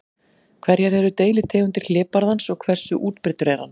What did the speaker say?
Hverjar eru deilitegundir hlébarðans og hversu útbreiddur er hann?